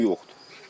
Heç kim yoxdur.